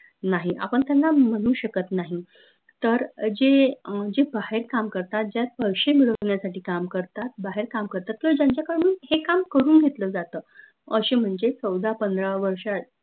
नाही आपन त्यांना म्हनू शकत नाही तर जे अं जे बाहेर काम करतात ज्यात पैशे मिळवन्यासाठी काम करतात बाहेर काम करतात किंव्हा ज्यांच्याकडून हे काम करून घेतलं जात अशे म्हनजे चौदा पंधरा वर्षा